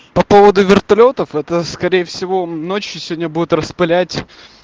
по поводу вертолётов это скорее всего ночью сегодня будут распылять